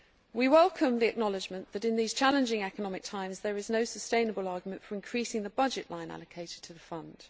We welcome the acknowledgement that in these challenging economic times there is no sustainable argument for increasing the budget line allocated to the Fund.